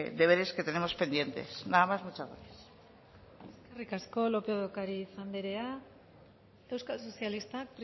deberes que tenemos pendientes nada más muchas gracias eskerrik asko lópez de ocariz andrea euskal sozialistak